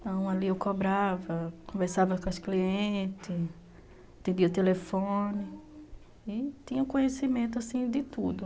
Então, ali eu cobrava, conversava com as clientes, atendia o telefone e tinha conhecimento assim de tudo.